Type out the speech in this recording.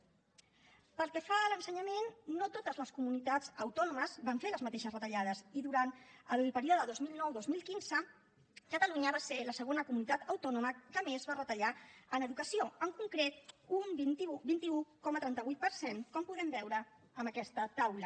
pel que fa a l’ensenyament no totes les comunitats autònomes van fer les mateixes retallades i durant el període dos mil nou dos mil quinze catalunya va ser la segona comunitat autònoma que més va retallar en educació en concret un vint un coma trenta vuit per cent com podem veure en aquesta taula